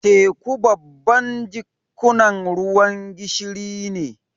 Teku babban jikkunan ruwan gishiri ne.